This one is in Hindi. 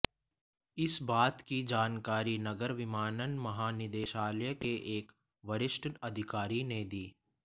इस बात की जानकरी नागर विमानन महानिदेशालय के एक वरिष्ठ अधिकारी ने दी